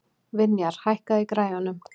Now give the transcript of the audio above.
Vinjar, hækkaðu í græjunum.